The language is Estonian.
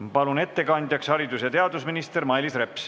Ma palun ettekandjaks haridus- ja teadusminister Mailis Repsi.